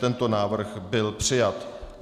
Tento návrh byl přijat.